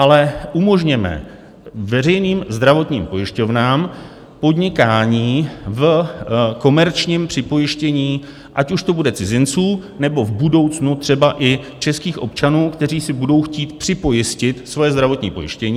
Ale umožněme veřejným zdravotním pojišťovnám podnikání v komerčním připojištění, ať už to bude cizinců, nebo v budoucnu i třeba českých občanů, kteří si budou chtít připojistit svoje zdravotní pojištění.